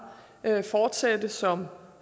fortsætte som